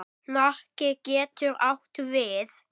Hnakki getur átt við